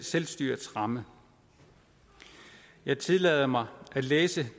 selvstyrets ramme jeg tillader mig at læse det